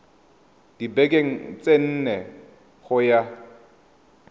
dibekeng tse nne go ya